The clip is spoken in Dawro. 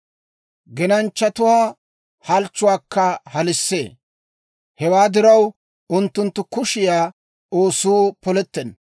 Genanchchatuwaa halchchuwaakka halissee; hewaa diraw, unttunttu kushiyaa oosuu polettenna.